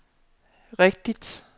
rigtigt